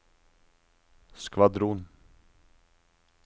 skvadron